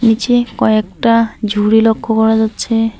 নীচে কয়েকটা ঝুড়ি লক্ষ্য করা যাচ্ছে।